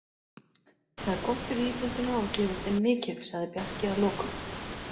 Það er gott fyrir íþróttina og gefur þeim mikið, sagði Bjarki að lokum.